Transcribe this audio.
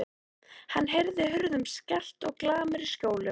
Hann heyrði hurðum skellt og glamur í skjólum.